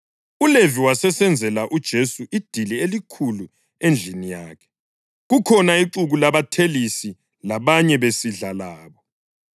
ULevi wasesenzela uJesu idili elikhulu endlini yakhe kukhona ixuku labathelisi labanye besidla labo.